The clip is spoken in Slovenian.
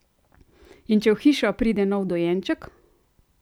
In če v hišo pride nov dojenček?